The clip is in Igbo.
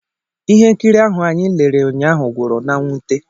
ihe nkiri ahụ anyị lere ụnyaahụ gwụrụ n' mwute